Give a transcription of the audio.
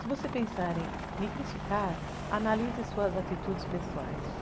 Se você pensar em me criticar, analise suas atitudes pessoais.